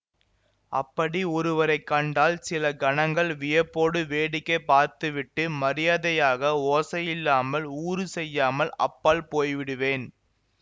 அப்படி ஒருவரை கண்டால் சில கணங்கள் வியப்போடு வேடிக்கை பார்த்துவிட்டு மரியாதையாக ஓசையில்லாமல் ஊறு செய்யாமல் அப்பால் போய்விடுவேன்